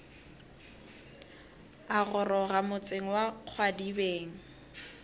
a goroga motseng wa kgwadibeng